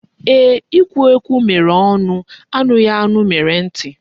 Ee ekwughiekwu mere onu, anughianu mere nti